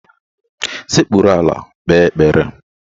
Sekpuru ala kpee ekpere!